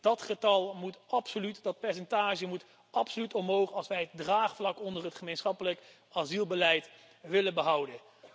Dat getal, dat percentage moet absoluut omhoog, als wij het draagvlak onder het gemeenschappelijk asielbeleid willen behouden.